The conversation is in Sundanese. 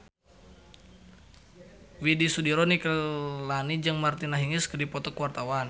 Widy Soediro Nichlany jeung Martina Hingis keur dipoto ku wartawan